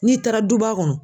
N'i taara duba kɔnɔ